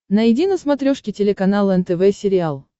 найди на смотрешке телеканал нтв сериал